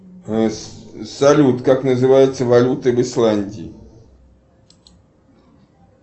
салют как называется валюта в исландии